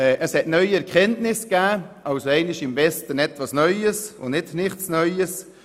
Es hat neue Erkenntnisse gegeben – also für einmal «im Westen etwas Neues» und nicht «nichts Neues».